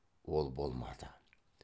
ол болмады